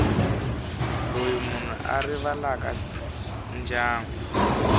loyi munhu a rivalaka ndyangu